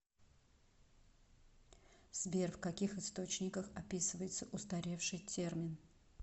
сбер в каких источниках описывается устаревший термин